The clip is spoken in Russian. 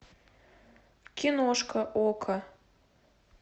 киношка окко